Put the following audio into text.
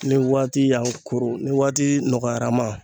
Ni waati y'an koron ni waati nɔgɔyara an ma.